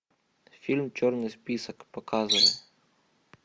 фильм черный список показывай